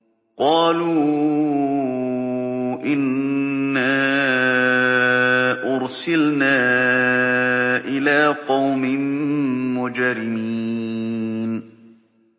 قَالُوا إِنَّا أُرْسِلْنَا إِلَىٰ قَوْمٍ مُّجْرِمِينَ